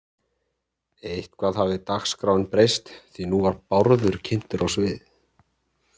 Eitthvað hafði dagskráin breyst því nú var Bárður kynntur á svið